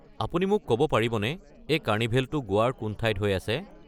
আপুনি মোক ক'ব পাৰিবনে এই কাৰ্নিভেলটো গোৱাৰ কোন ঠাইত হৈ আছে?